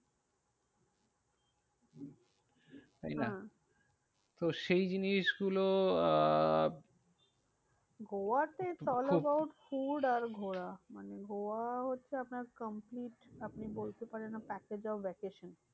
তাই না? হ্যাঁ তো সেই জিনিসগুলো আহ গোয়াতে it is all about food আর ঘোরা। মানে গোয়া হচ্ছে আপনার complete আপনি বলতে পারেন a package of vacation.